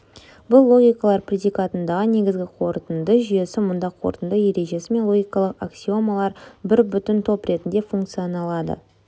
бұл логикалар предикатындағы негізгі қорытынды жүйесі мұнда қорытынды ережесі мен логикалық аксиомалар бір бүтін топ ретінде функцияланады